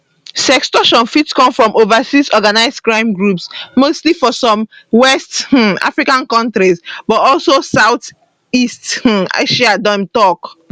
sextortion fit come from overseas organised crime groups mostly for some west um african kontries but also south east um asia dem tok